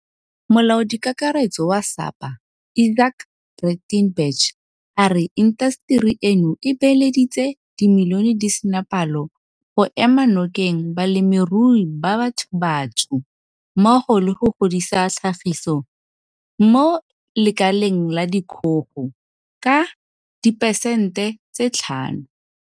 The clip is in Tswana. Molaodikakaretso wa SAPA Izaak Breitenbach a re intaseteri eno e beeleditse dimilione di sena palo go ema nokeng balemirui ba bathobatsho mmogo le go godisa tlhagiso mo lekaleng la dikgogo ka diperesente 5.